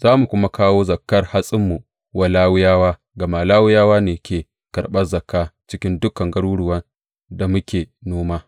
Za mu kuma kawo zakkar hatsinmu wa Lawiyawa, gama Lawiyawa ne ke karɓan Zakka cikin dukan garuruwan da muke noma.